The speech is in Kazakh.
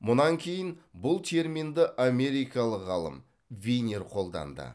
мұнан кейін бұл терминді америкалық ғалым винер қолданды